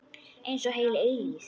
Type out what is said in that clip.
Einsog heil eilífð.